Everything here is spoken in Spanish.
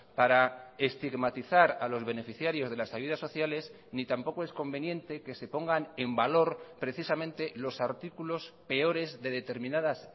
para estigmatizar a los beneficiarios de las ayudas sociales ni tampoco es conveniente que se pongan en valor precisamente los artículos peores de determinadas